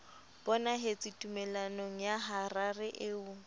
bonahetse tumellanong ya harare eo